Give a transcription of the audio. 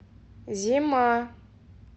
зима